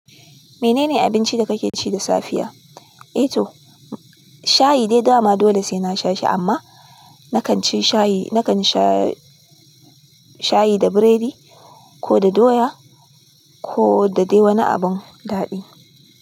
Menene abincin da kake ci da safiya? Eh to, shayi dai dama dole sai na sha shi amma na kan ci shayi, na kan sha shayi da biredi ko da doya ko da dai wani abun daɗi.